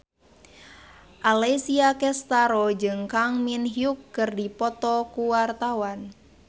Alessia Cestaro jeung Kang Min Hyuk keur dipoto ku wartawan